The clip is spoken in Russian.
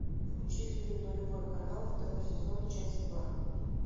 включи фильм нулевой канал второй сезон часть два